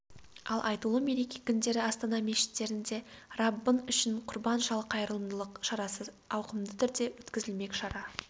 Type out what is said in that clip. ал айтулы мереке күндері астана мешіттерінде раббың үшін құрбан шал қайырымдылық шарасы ауқымды түрде өткізілмек шара